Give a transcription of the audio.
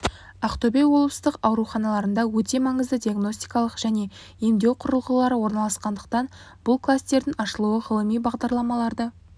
ақтөбе облыстық ауруханаларында өте маңызды диагностикалық және емдеу құрылғылары орналасқандықтан бұл кластердің ашылуы ғылыми бағдарламаларды